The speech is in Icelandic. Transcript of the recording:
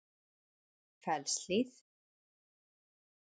Fellshlíð